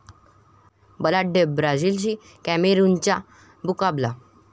बलाढ्य ब्राझीलशी कॅमेरुनचा मुकाबला